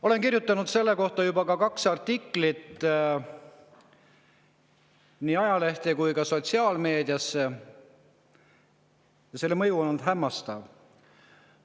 Olen selle kohta kirjutanud juba kaks artiklit, nii ajalehte kui ka sotsiaalmeediasse, ja mõju on olnud hämmastav.